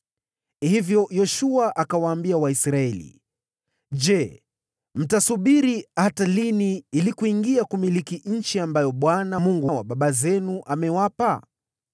Hivyo Yoshua akawaambia Waisraeli, “Je, mtasubiri hata lini ili kuingia kumiliki nchi ambayo Bwana , Mungu wa baba zenu, amewapa?